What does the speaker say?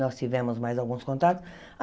Nós tivemos mais alguns contatos.